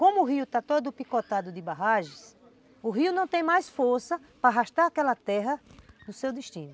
Como o rio está todo picotado de barragens, o rio não tem mais força para arrastar aquela terra no seu destino.